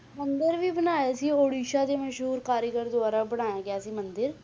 ਮੰਦਿਰ ਵੀ ਬਣਾਇਆ ਸੀ ਉੜੀਸਾ ਦੇ ਮਸ਼ਹੂਰ ਕਾਰੀਗਰ ਦੁਆਰਾ ਬਣਾਇਆ ਗਿਆ ਸੀ ਮੰਦਿਰ